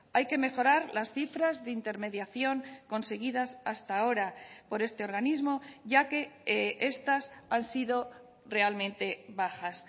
hay que mejorar las cifras de intermediación conseguidas hasta ahora por este organismo ya que estas han sido realmente bajas